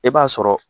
E b'a sɔrɔ